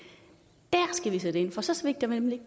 dér skal vi sætte ind for så svigter vi nemlig